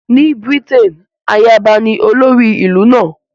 Ní Britain, ayaba ní olórí ìlú náà